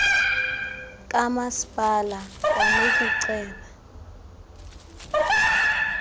kamaspala kwanoku ceba